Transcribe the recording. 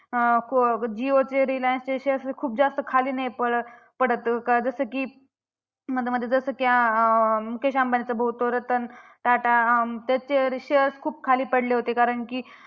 अं जिओचे रिलायन्सचे shares खूप जास्त खाली नाही पडत पडत. का जसं की मध्ये मध्ये जसं की आ मुकेश अंबानींचा भाऊ तो रतन टाटा अं त्याचे shares खूप खाली पडले होते. कारण की